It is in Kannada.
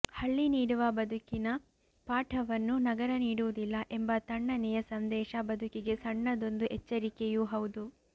ಹಳ್ಳಿ ನೀಡುವ ಬದುಕಿನ ಪಾಠವನ್ನು ನಗರ ನೀಡುವುದಿಲ್ಲ ಎಂಬ ತಣ್ಣನೆಯ ಸಂದೇಶ ಬದುಕಿಗೆ ಸಣ್ಣದೊಂದು ಎಚ್ಚರಿಕೆಯೂ ಹೌದು